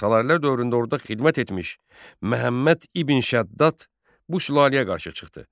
Salarilər dövründə orda xidmət etmiş Məhəmməd İbn Şəddad bu sülaləyə qarşı çıxdı.